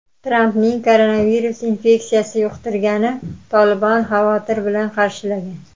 Trampning koronavirus infeksiyasi yuqtirganini "Tolibon" xavotir bilan qarshilagan.